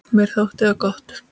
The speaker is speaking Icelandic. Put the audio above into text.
Mér þótti það gott.